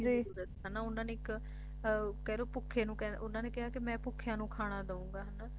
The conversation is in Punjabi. ਜਰੂਰਤ ਹੈ ਨਾ ਉਨ੍ਹਾਂ ਨੇ ਇੱਕ ਕਹਿ ਲੋ ਭੁੱਖੇ ਉਨ੍ਹਾਂ ਨੇ ਕਿਹਾ ਮੈਂ ਭੁੱਖਿਆਂ ਨੂੰ ਖਾਣਾ ਦਊਂਗਾ ਹੈ ਨਾ